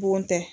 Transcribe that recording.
Bon tɛ